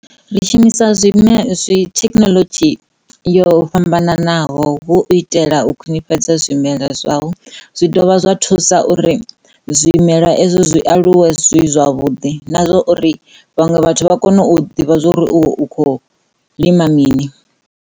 Ri shumisa zwime, thekhinoḽodzhi yo fhambananaho hu u itela u khwinifhadza zwimela zwau zwi dovha zwa thusa zwimela ezwo zwi aluwe zwi zwavhuḓi na zwo uri vhaṅwe vhathu vha kone u ḓivha zwa uri u kho lima mini.